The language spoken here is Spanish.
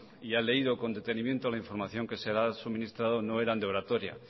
y ha leído con detenimiento la información que se la ha suministrado no eran de oratoria